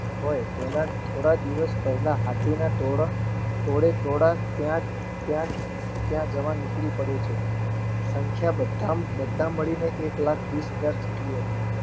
હોય તેને થોડા દિવસ પહેલા હાથી નો તોડે તોડા ત્યાં ત્યાં જવા નિકરી પડે છે સંખ્યા બધા મળીને એક લાખ વિષ હજાર જેટલી હતી